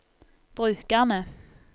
brukerne